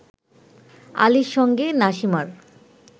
আলীর সঙ্গে নাসিমার